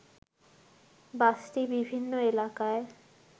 বাসটি বিভিন্ন এলাকায়